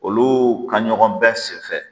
Olu ka ɲɔgɔn bɛɛ senfɛ